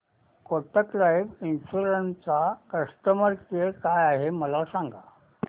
Kotak life insurance चा customer care काय आहे मला सांगा